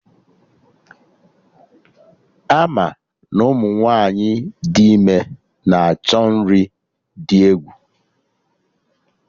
Ama na Ụmụ nwaanyị dị ime na-achọ nri dị egwu